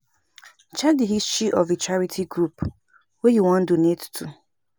Check di history of di charity group wey you wan donate to